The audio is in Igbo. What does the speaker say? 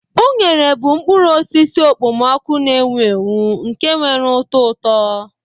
Unere bụ mkpụrụ osisi okpomọkụ na-ewu ewu nke nwere ụtọ ụtọ.